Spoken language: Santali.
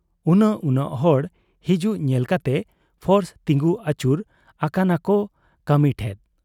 ᱩᱱᱟᱹᱜ ᱩᱱᱟᱹᱜ ᱦᱚᱲ ᱦᱤᱡᱩᱜ ᱧᱮᱞ ᱠᱟᱛᱮ ᱯᱷᱳᱨᱥ ᱛᱤᱸᱜᱩ ᱟᱹᱪᱩᱨ ᱟᱠᱟᱱᱟᱠᱚ ᱠᱟᱹᱢᱤ ᱴᱷᱮᱫ ᱾